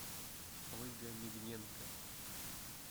ольга мигненко